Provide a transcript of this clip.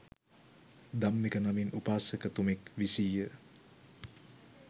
ධම්මික නමින් උපාසක තුමෙක් විසීය.